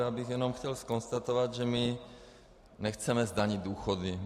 Já bych jenom chtěl konstatovat, že my nechceme zdanit důchody.